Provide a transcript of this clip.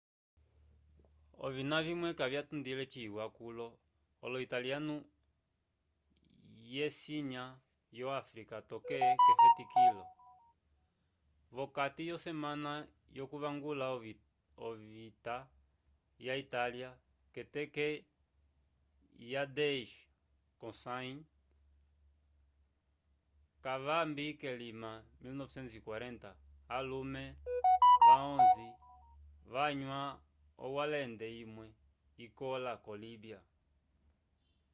ovina vimwe kavya tundile ciwa kulo olo italiano ye sinya yo afrika toke kefetikilo vokati yo semana yo kuvangula ovita ya italia keteke ye 10 ko sayi kavambi ke lima 1940 alume va 11 vanyua owalende imwe ikola ko líbia